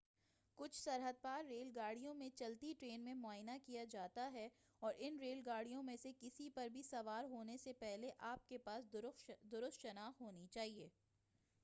کچھ سرحد پار ریل گاڑیوں میں چلتی ٹرین میں معائنہ کیا جاتا ہے اور ان ریل گاڑیوں میں سے کسی پر بھی سوار ہونے سے پہلے آپ کے پاس درست شناخت ہونی چاہئے